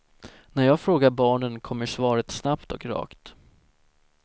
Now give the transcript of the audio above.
När jag frågar barnen kommer svaret snabbt och rakt.